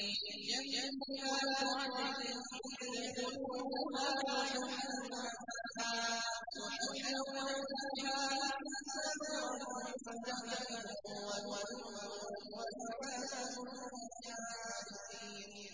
جَنَّاتُ عَدْنٍ يَدْخُلُونَهَا يُحَلَّوْنَ فِيهَا مِنْ أَسَاوِرَ مِن ذَهَبٍ وَلُؤْلُؤًا ۖ وَلِبَاسُهُمْ فِيهَا حَرِيرٌ